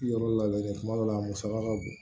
Yɔrɔ labɛnnen kuma dɔ la a musaka ka bon